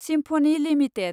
symphony limited